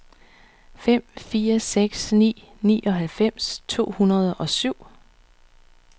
fem fire seks ni nioghalvfems to hundrede og syv